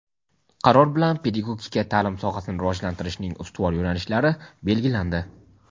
Qaror bilan pedagogika taʼlim sohasini rivojlantirishning ustuvor yo‘nalishlari belgilandi.